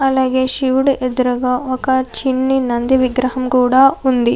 అలాగే శివుడి ఎదురుగా ఒక చిన్న నంది విగ్రహం కూడా ఉంది.